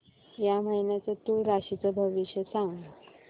या महिन्याचं तूळ राशीचं भविष्य सांग